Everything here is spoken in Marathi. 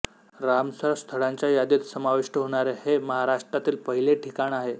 रामसर स्थळांच्या यादीत समाविष्ट होणारे हे महाराष्ट्रातील पहिले ठिकाण आहे